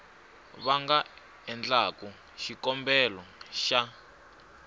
va nga endlaku xikombelo xa